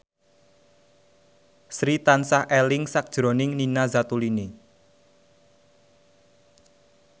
Sri tansah eling sakjroning Nina Zatulini